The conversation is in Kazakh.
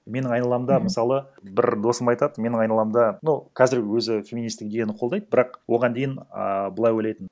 менің айналамда мысалы бір досым айтады менің айналамда ну қазір өзі феминистік идеяны қолдайды бірақ оған дейін а былай ойлайтын